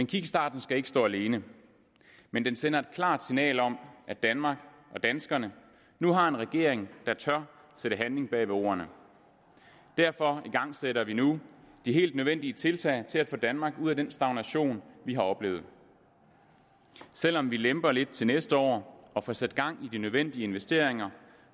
kickstarten skal ikke stå alene men den sender et klart signal om at danmark og danskerne nu har en regering der tør sætte handling bag ordene derfor igangsætter vi nu de helt nødvendige tiltag til at få danmark ud af den stagnation vi har oplevet selv om vi lemper lidt til næste år og får sat gang i de nødvendige investeringer